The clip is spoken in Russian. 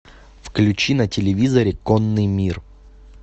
включи на телевизоре конный мир